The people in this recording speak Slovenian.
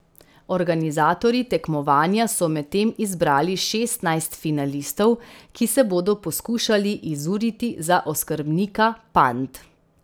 Organizatorji tekmovanja so medtem izbrali šestnajst finalistov, ki se bodo poskušali izuriti za oskrbnika pand.